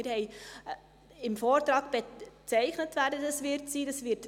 Wir haben im Vortrag bezeichnet, wer das dann sein wird;